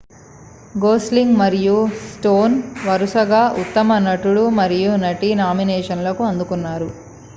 Gosling మరియు Stone వరుసగా ఉత్తమ నటుడు మరియు నటి నామినేషన్లను అందుకున్నారు